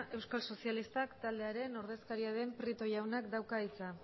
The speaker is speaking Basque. euskal sozialistak taldearen ordezkaria den prieto jaunak dauka hitza